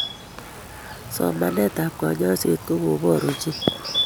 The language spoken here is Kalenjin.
Somanetab kanyaishet kokobor ochei